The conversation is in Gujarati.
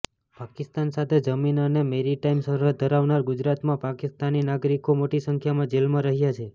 પાકિસ્તાન સાથે જમીન અને મેરિટાઇમ સરહદ ધરાવનાર ગુજરાતમાં પાકિસ્તાની નાગરિકો મોટી સંખ્યામાં જેલમાં રહ્યા છે